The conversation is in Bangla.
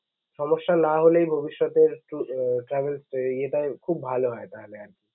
সমস্যা না হলেই ভবিষ্যতের travel ইয়েটায় খুব ভালো হয় ভা~ভাইয়া.